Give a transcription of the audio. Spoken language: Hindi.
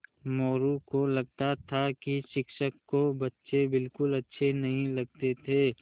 मोरू को लगता था कि शिक्षक को बच्चे बिलकुल अच्छे नहीं लगते थे